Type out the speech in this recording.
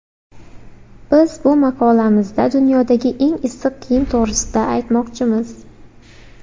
Biz bu maqolamizda dunyodagi eng issiq kiyim to‘g‘risida aytmoqchimiz.